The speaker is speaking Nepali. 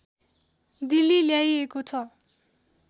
दिल्ली ल्याइएको छ